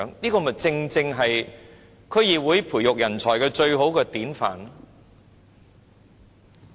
這正正是區議會培育人才的最好典範。